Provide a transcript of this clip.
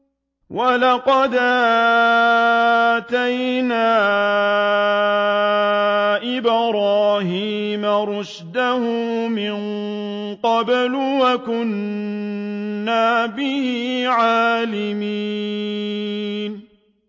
۞ وَلَقَدْ آتَيْنَا إِبْرَاهِيمَ رُشْدَهُ مِن قَبْلُ وَكُنَّا بِهِ عَالِمِينَ